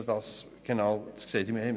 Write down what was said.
Wie ist das genau vorgesehen?